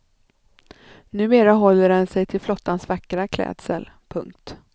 Numera håller den sig till flottans vackra klädsel. punkt